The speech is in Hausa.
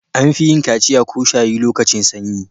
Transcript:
An fi yin kaciya/shayi lokacin sanyi.